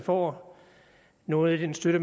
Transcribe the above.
får noget af den støtte